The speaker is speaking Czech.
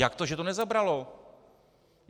Jak to, že to nezabralo?